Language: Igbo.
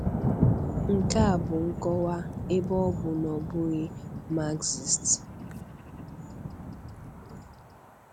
Nke a bụ nkọwa, ebe ọ bụ na ọ bụghị Marxist.